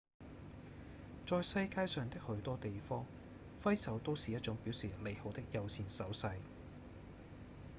在世界上的許多地方揮手都是一種表示「你好」的友善手勢」